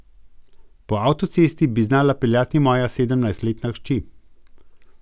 Po avtocesti bi znala peljati moja sedemnajstletna hči.